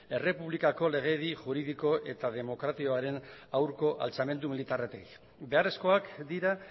errepublikako legedi juridiko eta demokratikoaren aurko altzamendu militarretik beharrezkoak dira